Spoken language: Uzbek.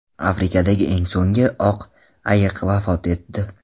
Afrikadagi eng so‘nggi oq ayiq vafot etdi.